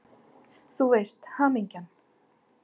Þú veist: Hamingjan!